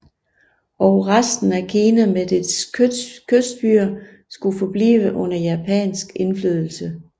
Og resten af Kina med dets kystbyer skulle forblive under japansk indflydelse